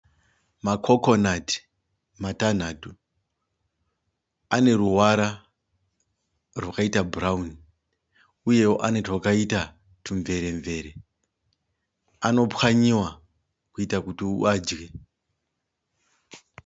Ma Coconut matanhatu, ane ruvara rwakaita bhurauni. Uyewo ane twakaita tumveremvere anopwanyiwa kuita kuti uadye.